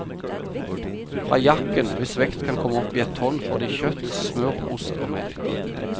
Fra jaken, hvis vekt kan komme opp i et tonn, får de kjøtt, smør, ost og melk.